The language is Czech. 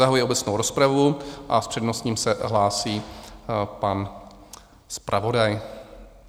Zahajuji obecnou rozpravu a s přednostním se hlásí pan zpravodaj.